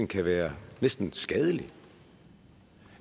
kan være næsten skadeligt og